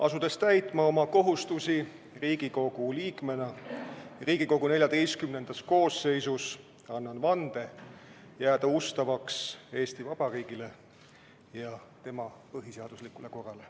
Asudes täitma oma kohustusi Riigikogu liikmena Riigikogu XIV koosseisus, annan vande jääda ustavaks Eesti Vabariigile ja tema põhiseaduslikule korrale.